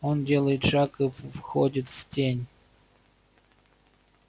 он делает шаг и входит в тень